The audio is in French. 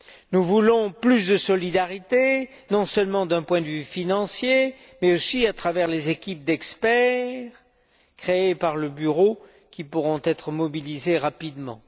Nous voulons plus de solidarité, non seulement d'un point de vue financier, mais aussi à travers les équipes d'experts créées par le Bureau qui pourront être mobilisées rapidement.